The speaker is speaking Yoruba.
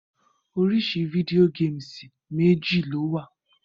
Orísi video games méjì lowa